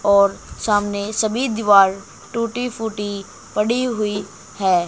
और सामने सभी दीवार टूटीं फूटीं पड़ी हुई है।